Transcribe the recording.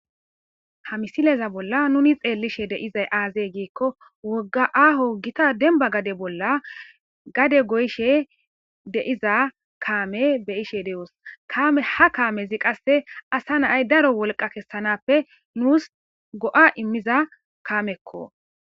Ha misileza bolla nuni xeellishe de'izay aaze giiko wogga aaho gita dembba gade bolla gade goyishe de'iza kaame be'ishe de'oos ha kaamezi qasse asa na'ay daro wolqqa kessanape nuus go'a immiza kaameko.